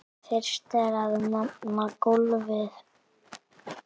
Fyrst er að nefna golfið.